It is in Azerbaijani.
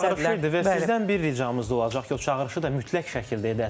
Bir çağırış idi və sizdən bir ricamız da olacaq ki, o çağırışı da mütləq şəkildə edəsiz.